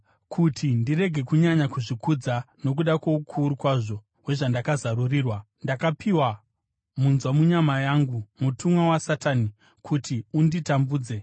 Kuti ndirege kunyanya kuzvikudza nokuda kwoukuru kwazvo hwezvandakazarurirwa, ndakapiwa munzwa munyama yangu, mutumwa waSatani, kuti unditambudze.